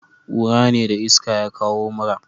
kura ne da iska ya kawo mura